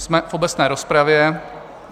Jsme v obecné rozpravě.